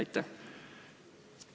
Aitäh!